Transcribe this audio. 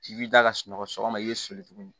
I b'i da ka sunɔgɔ sɔgɔ sɔgɔma i bɛ soli tuguni